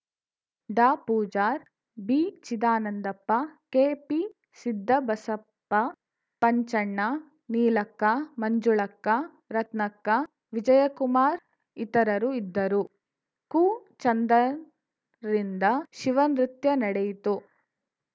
ಡಾ ಪೂಜಾರ್‌ ಬಿಚಿದಾನಂದಪ್ಪ ಕೆಪಿಸಿದ್ದಬಸಪ್ಪ ಪಂಚಣ್ಣ ನೀಲಕ್ಕ ಮಂಜುಳಕ್ಕ ರತ್ನಕ್ಕ ವಿಜಯಕುಮಾರ್‌ ಇತರರು ಇದ್ದರು ಕುಚಂದನ್ ರಿಂದ ಶಿವ ನೃತ್ಯ ನಡೆಯಿತು